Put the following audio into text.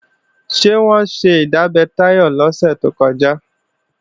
Ṣé wọ́n ṣe ìdábẹ́ Táyọ̀ lọ́sẹ̀ tó kọjá?